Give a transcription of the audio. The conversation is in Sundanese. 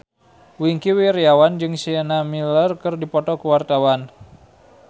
Wingky Wiryawan jeung Sienna Miller keur dipoto ku wartawan